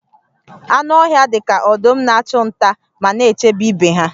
Anụ ọhịa dị ka ọdụm na-achụ nta ma na-echebe ibe ha